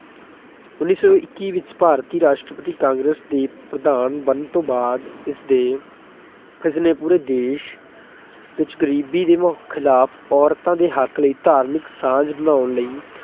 ਉੱਨੀ ਸੌ ਇੱਕੀ ਵਿੱਚ ਭਾਰਤੀ ਰਾਸ਼ਟਰੀ ਕਾਂਗਰਸ ਦੇ ਪ੍ਰਧਾਨ ਬਣਨ ਤੋਂ ਬਾਅਦ ਉਸਦੇ ਪਿਛਲੇ ਪੂਰੇ ਦੇਸ਼ ਵਿੱਚ ਗਰੀਬੀ ਦੇ ਖਿਲਾਫ ਔਰਤਾਂ ਦੇ ਹੱਕ ਲਈ ਧਾਰਮਿਕ ਸਾਂਝ ਬਣਾਉਣ ਲਈ